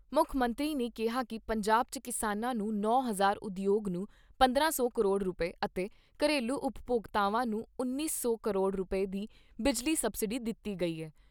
ਮੁੱਖ ਮੰਤਰੀ ਨੇ ਕਿਹਾ ਕਿ ਪੰਜਾਬ 'ਚ ਕਿਸਾਨਾਂ ਨੂੰ ਨੌ ਹਜ਼ਾਰ ਉਦਯੋਗ ਨੂੰ ਪੰਦਰਾਂ ਸੌ ਕਰੋੜ ਰੁਪਏ ਅਤੇ ਘਰੇਲੂ ਉਪਭੋਗਤਾਵਾਂ ਨੂੰ ਉੱਨੀ ਸੌ ਕਰੋੜ ਰੁਪਏ ਦੀ ਬਿਜਲੀ ਸਬਸਿਡੀ ਦਿੱਤੀ ਗਈ ਐ।